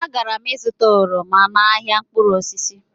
Agara m zụta oroma n'ahịa mkpụrụ osisi